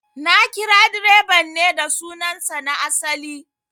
Na kira direban ne da sunan sa na asali